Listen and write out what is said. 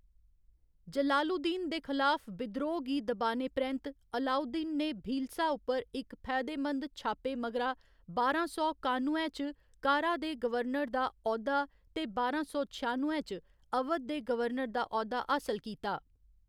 जलालुद्दीन दे खलाफ विद्रोह् गी दबाने परैंत्त, अलाउद्दीन ने भीलसा उप्पर इक फायदेमंद छापे मगरा, बारां सौ कानुए च कारा दे गवर्नर दा औह्‌दा ते बारां सौ छआनुए च अवध दे गवर्नर दा औह्‌दा हासल कीता।